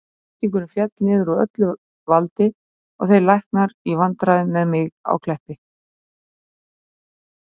Blóðþrýstingurinn féll niður úr öllu valdi og þeir læknarnir í vandræðum með mig á Kleppi.